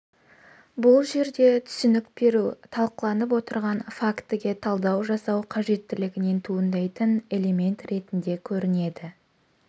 бұл жерде түсінік беру талқыланып отырған фактіге талдау жасау қажеттілігінен туындайтын элемент ретінде көрінеді